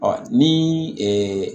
Ɔ ni